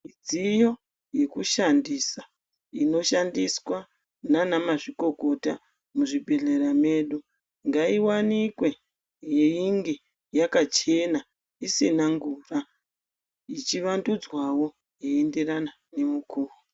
Midziyo yekushandisa inoshandiswa nanamazvikokota muzvibhedhlera medu, ngaiwanikwe yeinge yakachena isina ngura ichivandudzwawo, yeienderana nemukuwo